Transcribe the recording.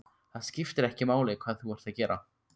Það skiptir ekki máli hvað þú ert að gera.